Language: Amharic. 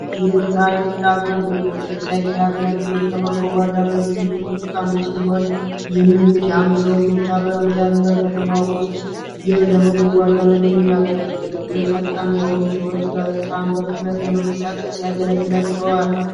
የሳይክል አገልግሎት የሳይክል አገልግሎት ከመጓጓዣ አገልግሎቶች ውስጥ አንዱ ሲሆን ይህም እንግዲህ አንድ ሰውን ብቻ በመያዝ በከተማ ውስጥ ይህ ለመጓጓዣነት የሚያገለግል ነው ይህም ፈጣን የሆኑ ሰዎች በጣም በፍጥነት ለመንቀሳቀስ ያገለግላቸዋል።